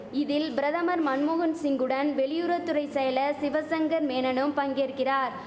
இதில் பிரதமர் மன்மோகன் சிங்குடன் வெளியுறவு துறை செயலர் சிவசங்கர் மேனனும் பங்கேற்கிறார்